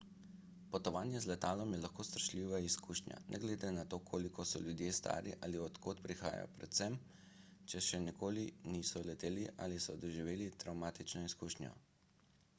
potovanje z letalom je lahko strašljiva izkušnja ne glede na to koliko so ljudje stari ali od kod prihajajo predvsem če še nikoli niso leteli ali so doživeli travmatično izkušnjo